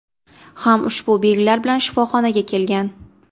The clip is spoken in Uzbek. ham ushbu belgilar bilan shifoxonaga kelgan.